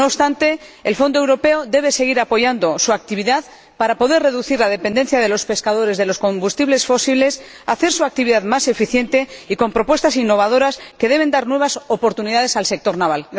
No obstante, el Fondo Europeo de Pesca debe seguir apoyando la actividad de este sector para poder reducir la dependencia de los pescadores de los combustibles fósiles, y para hacer su actividad más eficiente y dotarla de propuestas innovadoras, que deben dar nuevas oportunidades al sector naval.